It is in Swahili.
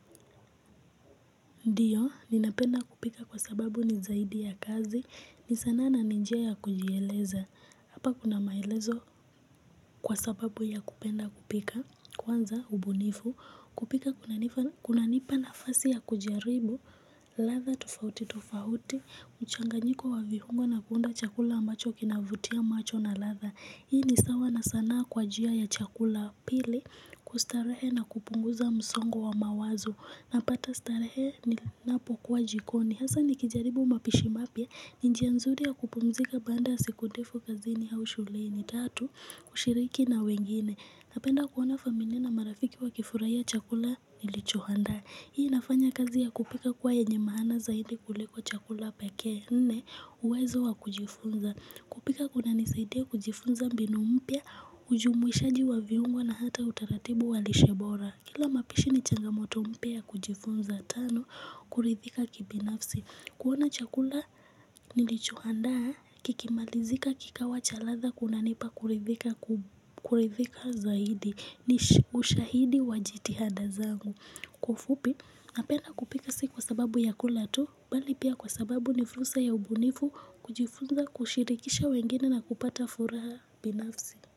Ndiyo, ninapenda kupika kwa sababu ni zaidi ya kazi, ni sanaa na ni njia ya kujieleza, hapa kuna maelezo kwa sababu ya kupenda kupika, kwanza ubunifu, kupika kunanipa nafasi ya kujaribu, ladha tofauti tofauti, mchanganyiko wa vihungo na kuunda chakula ambacho kinavutia macho na ladha. Hii ni sawa na sanaa kwa jia ya chakula pili kustarehe na kupunguza msongo wa mawazo. Napata starehe ninapokuwa jikoni hasa nikijaribu mapishi mapya ni njia nzuri ya kupumzika baada siku ndefu kazini hau shuleni tatu kushiriki na wengine. Napenda kuona familia na marafiki wakifurahia chakula nilichohandaa. Hii inafanya kazi ya kupika kuwa yenye maana zaidi kuliko chakula pekee nne uwezo wa kujifunza kupika kunanisaidia kujifunza mbinu mpya ujumuishaji wa viungo na hata utaratibu wa lishe bora. Kila mapishi ni changamoto mpya kujifunza tano kuridhika kibinafsi kuona chakula nilichohandaa kikimalizika kikawa cha latha kunanipa kuridhika kuridhika zaidi. Ni ushahidi wa jitihada zangu. Kwa ufupi napenda kupika si kwa sababu ya kula tu bali pia kwa sababu ni fursa ya ubunifu kujifunza kushirikisha wengine na kupata furaha binafsi.